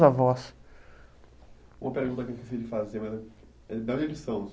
Avós. Uma pergunta que eu esqueci de fazer, mas